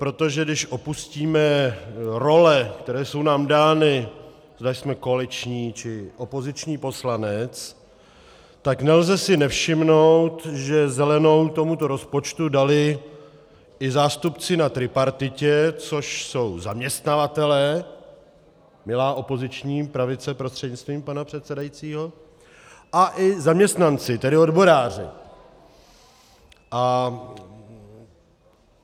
Protože když opustíme role, které jsou nám dány, zda jsme koaliční, či opoziční poslanec, tak si nelze nevšimnout, že zelenou tomuto rozpočtu dali i zástupci na tripartitě, což jsou zaměstnavatelé, milá opoziční pravice prostřednictvím pana předsedajícího, a i zaměstnanci, tedy odboráři.